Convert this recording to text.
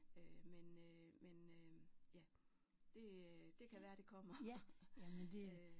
Øh men øh men øh ja. Det det kan være det kommer øh